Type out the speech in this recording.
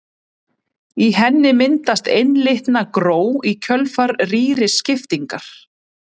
Í henni myndast einlitna gró í kjölfar rýriskiptingar.